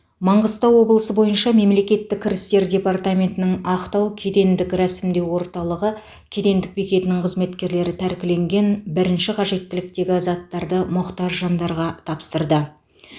маңғыстау облысы бойынша мемлекеттік кірістер департаментінің ақтау кедендік рәсімдеу орталығы кедендік бекетінің қызметкерлері тәркіленген бірінші қажеттіліктегі заттарды мұқтаж жандарға тапсырды